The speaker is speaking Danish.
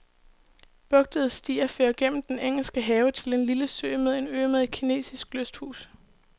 Bugtede stier fører gennem den engelske have til en lille sø med en ø med et kinesisk lysthus.